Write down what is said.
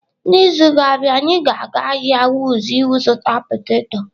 N'izu na-abịa, anyị ga-aga ahịa Wuse ịzụta poteto.